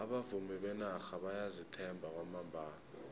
abavumi benarha bayazithemba kwamambala